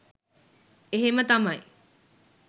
එහෙම තමයි